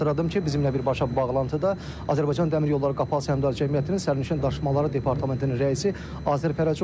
Bir daha xatırladım ki, bizimlə birbaşa bağlantıda Azərbaycan Dəmir Yolları Qapalı Səhmdar Cəmiyyətinin sərnişin daşımaları departamentinin rəisi Azər Fərəcov idi.